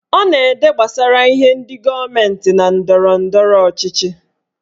Ọ na-ede gbasara ihe ndị gọọmenti na ndọrọndọrọ ọchịchị